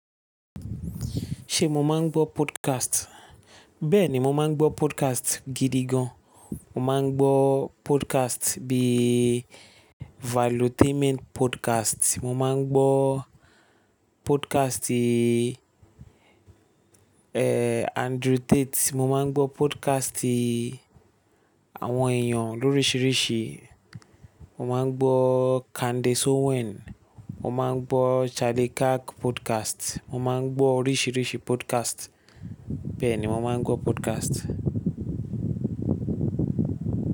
Ṣe mo máa ń gbọ́ podcast? Bẹ́ẹ̀ni, mo máa ń gbọ́ podcast gidi gan. Mo máa ń gbọ́ podcast bí i Valutainment Podcast. Mo máa ń gbọ́ podcast i, eeh, Andrew Tate. Mo máa ń gbọ́ podcast i àwọn èèyàn lóríṣiríṣi. Mo máa ń gbọ́ Candace Owen. Mo máa ń gbọ́ Charlie Kirk Podcast. Mo máa ń gbọ́ oríṣiríṣi podcast. Bẹ́ẹ̀ ni, mo máa ń gbọ́ podcast.